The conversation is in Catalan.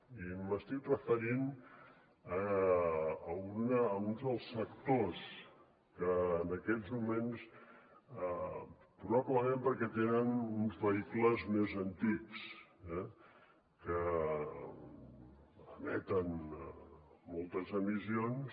i m’estic referint a un dels sectors que en aquests moments probablement perquè tenen uns vehicles més antics que emeten moltes emissions